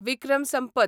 Vikram Sampath